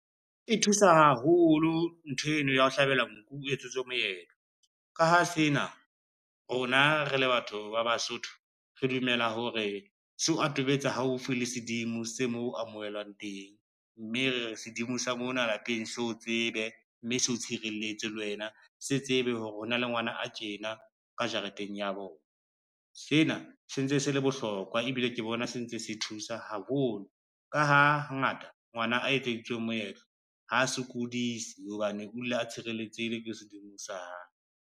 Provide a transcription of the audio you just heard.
E thusa haholo ntho eno ya ho hlabelwa nku o etsetswe moetlo. Ka ha sena rona re le batho ba Basotho re dumela hore seo atometsa haufi le sedimo se mo amohelwang teng, mme re re sedimo sa mona lapeng seo tsebe mme seo tshireletse le wena se tsebe hore hona le ngwana a tjena ka jareteng ya bona. Sena se ntse se le bona bohlokwa ebile ke bona se ntse se thusa haholo ka ha hangata, ngwana a etseditsweng moetlo ha sokodise hobane o dula a tshireletsehile ke sedimo sa hae.